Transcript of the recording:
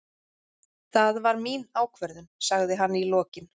Það var mín ákvörðun, sagði hann í lokin.